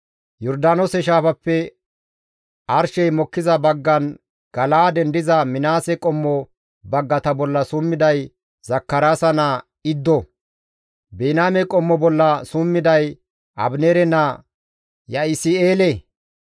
Yordaanoose shaafappe arshey mokkiza baggan Gala7aaden diza Minaase qommo baggata bolla summiday Zakaraasa naa Iddo. Biniyaame qommo bolla summiday Abineere naa Ya7isi7eele.